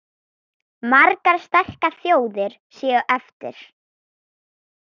Margar sterkar þjóðir séu eftir.